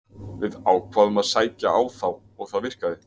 Við ákváðum að sækja á þá og það virkaði.